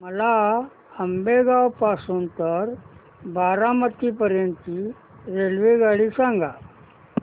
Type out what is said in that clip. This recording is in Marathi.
मला आंबेगाव पासून तर बारामती पर्यंत ची रेल्वेगाडी सांगा